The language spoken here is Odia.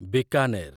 ବିକାନେର